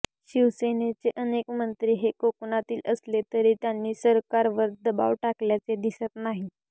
शिवसेनेचे अनेक मंत्री हे कोकणातील असले तरी त्यांनी सरकारवर दबाव टाकल्याचे दिसत नाही